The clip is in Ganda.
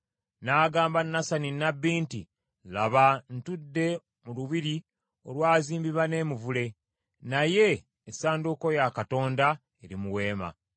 N’agamba Nasani nnabbi nti, “Laba ntudde mu lubiri olwazimbibwa n’emivule, naye essanduuko ya Katonda eri mu weema.”